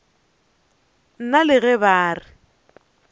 nna le ge ba re